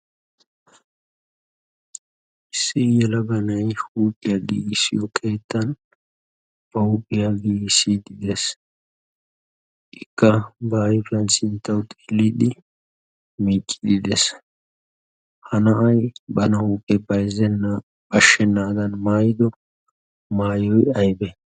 issii yala banay huuphiyaa diigissiyo qeettan pauuphiyaa giissiddi de'ees. ikka ba ayfiyan sinttawu xiilliiddi miiqqiidi de'ees. ha naya bana huuphee payzzenna bashshennaadan maayido maayoy aybe?